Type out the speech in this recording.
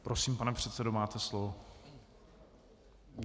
Prosím, pane předsedo, máte slovo.